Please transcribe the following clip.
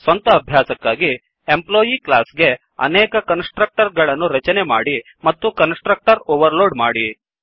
ಸ್ವಂತ ಅಭ್ಯಾಸಕ್ಕಾಗಿ employee class ಗೆ ಅನೇಕ ಕನ್ಸ್ ಟ್ರಕ್ಟರ್ ಗಳನ್ನು ರಚನೆ ಮಾಡಿ ಮತ್ತು ಕನ್ಸ್ ಟ್ರಕ್ಟರ್ ಓವರ್ ಲೋಡ್ ಮಾಡಿ